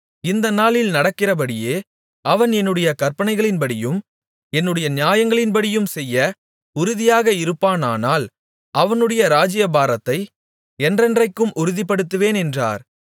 இந்தநாளில் நடக்கிறபடியே அவன் என்னுடைய கற்பனைகளின்படியும் என்னுடைய நியாயங்களின்படியும் செய்ய உறுதியாக இருப்பானானால் அவனுடைய ராஜ்ஜியபாரத்தை என்றென்றைக்கும் உறுதிப்படுத்துவேன் என்றார்